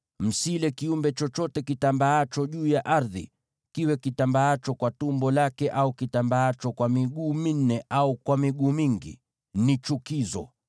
Msile kiumbe chochote kitambaacho juu ya ardhi, kiwe kitambaacho kwa tumbo lake, au kitambaacho kwa miguu minne au kwa miguu mingi; ni chukizo.